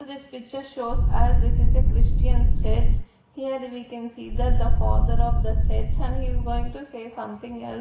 this picture shows as this is a Christian Church here the we can see that the father of the church and he is going to say something el--